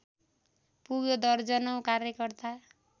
पुग्यो दर्जनौ कार्यकर्ता